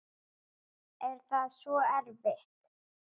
Er það svo erfitt?